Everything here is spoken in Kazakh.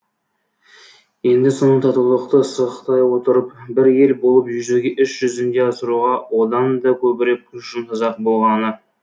енді соны татулықты сақтай отырып бір ел болып жүзеге іс жүзінде асыруға одан да көбірек күш жұмсасақ болғаны